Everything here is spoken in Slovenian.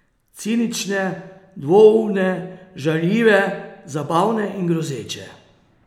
Cinične, dvoumne, žaljive, zabavne in grozeče.